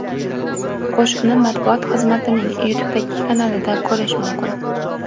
Qo‘shiqni matbuot xizmatining YouTube’dagi kanalida ko‘rish mumkin .